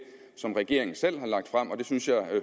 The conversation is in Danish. som regeringen selv har lagt frem og det synes jeg